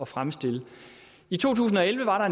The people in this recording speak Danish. fremstille i to tusind og elleve var